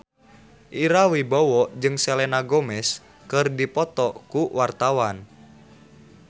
Ira Wibowo jeung Selena Gomez keur dipoto ku wartawan